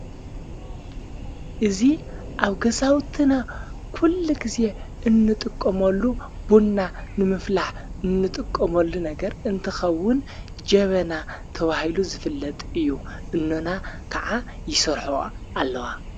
እዙ ኣብ ገሳውትነ ኲሉ ጊዜ እንጥቆመሉ ቡንና ንምፍላሕ እንጥቆመሉ ነገር እንትኸውን ጀበና ተብሂሉ ዝፍለጥ እዩ እኖና ከዓ ይሠርሖዋ ኣለዋ።